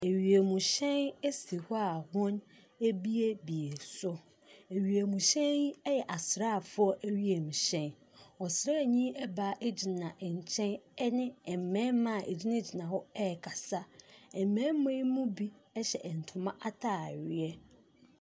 Wiemhyɛn si hɔ a wɔabuebue so, na wiemhyɛn yi yɛ asraafoɔ wiemhyɛn. Ɔsraani baa gyina nkyɛn ɔne mmarima a ɛgyinagyina hɔ ɛrekasa. Mmarima yi mu bi hyɛ ntoma ataare.